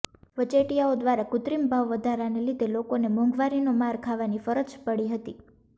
વચેટીયાઓ દ્વારા કુત્રિમ ભાવ વધારાને લીધે લોકોને મોંઘવારીનો માર ખાવાની ફરજ પડતી હતી